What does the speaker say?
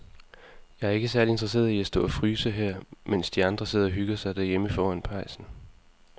Jeg er ikke særlig interesseret i at stå og fryse her, mens de andre sidder og hygger sig derhjemme foran pejsen.